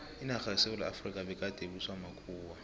inarha yesewula efrika begade ibuswa makhuwa